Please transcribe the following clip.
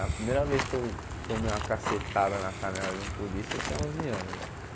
A primeira vez que eu tomei uma cacetada na canela de um polícia, eu tinha onze anos, velho.